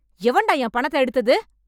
எவன்டா என் பணத்த எடுத்தது?